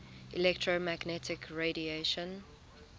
electromagnetic radiation